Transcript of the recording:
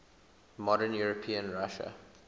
modern european russia